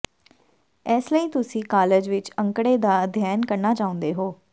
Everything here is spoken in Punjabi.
ਇਸ ਲਈ ਤੁਸੀਂ ਕਾਲਜ ਵਿੱਚ ਅੰਕੜੇ ਦਾ ਅਧਿਐਨ ਕਰਨਾ ਚਾਹੁੰਦੇ ਹੋ